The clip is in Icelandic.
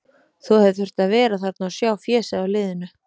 Þú hefðir þurft að vera þarna og sjá fésið á liðinu.